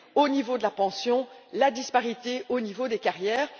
au niveau de la pension et la disparité au niveau des carrières.